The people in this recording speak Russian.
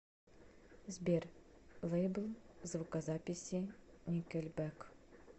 сбер лейбл звукозаписи никельбэк